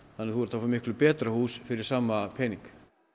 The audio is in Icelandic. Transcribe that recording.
þannig að þú ert að fá betra hús fyrir sama pening